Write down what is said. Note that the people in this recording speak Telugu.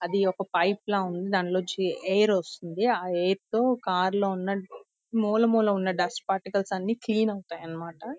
అది ఒక పైప్ లా ఉంద. దాని లో నుంచి ఎయిర్ వస్తుంది. ఆ ఎయిర్ తో కార్ లో ములమూలన డస్ట్ పార్టికల్స్ అన్ని క్లీన్ ఐతె అన్న మాట.